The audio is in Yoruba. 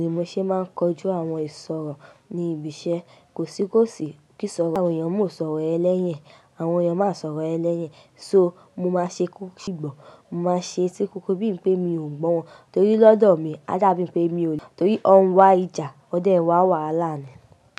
Ni mo ṣé máa ń kọjú àwọn ìṣòro ní ibi iṣẹ́, kòsí kòsí kí sọ̀rọ̀ àwọn èèyàn mú ọ sọ̀rọ̀ ẹlẹ́yìn, àwọn èèyàn máa sọ̀rọ̀ ẹlẹ́yìn. So mo máa ṣe kú sígbọ̀, mo máa ṣe etí kúnkún bíi enipé mi ò gbọ́ wọn nitorípe lọ́dọ̀ mi a dàbí wipé mi ò ní, torí wọ́n wá ìjà, wón dẹ̀ wá wàhálà nii.